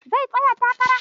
Zai tsaya takara?